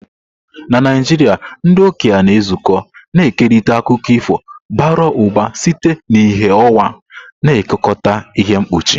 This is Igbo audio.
Na Naijiria, ndị okenye na-ezukọ, na-ekerịta akụkọ ifo bara ụba site n'ìhè ọnwa, na-ekekọta ihe mkpuchi.